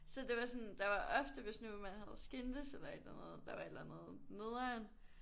Så det var sådan der var ofte hvis nu man havde skændtes eller et eller andet der var et eller andet nederen